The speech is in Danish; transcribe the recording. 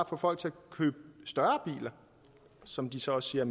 få folk til at købe større biler som de så også siger